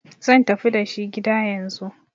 zan tafi dashi gida yanzu!